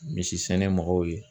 Misi sɛnɛ mɔgɔw ye.